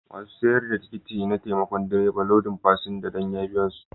Masun sayar da tikitin na taimaka direban lodin fasinja danya biya su.